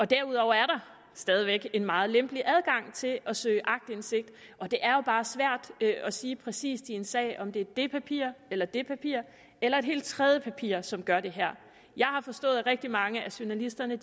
derudover er der stadig væk en meget lempelig adgang til at søge aktindsigt og det er jo bare svært at sige præcis i en sag om det er det papir eller det papir eller et helt tredje papir som gør det her jeg har forstået at rigtig mange af journalisterne